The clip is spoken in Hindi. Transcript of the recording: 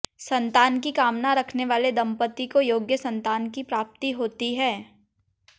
संतान की कामना रखने वाले दंपति को योग्य संतान की प्राप्ति होती है